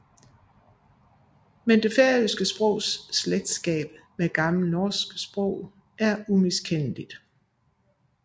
Men det færøske sprogs slægtskab med gammelt norsk sprog er umiskendeligt